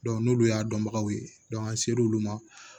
n'olu y'a dɔnbagaw ye an ser'olu ma